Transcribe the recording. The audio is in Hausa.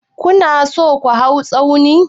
Ku na so ku hau tsauni?